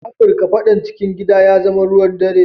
A Africa fadan cikin gida ya zama ruwan dare.